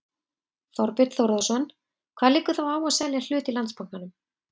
Þorbjörn Þórðarson: Hvað liggur þá á að selja hlut í Landsbankanum?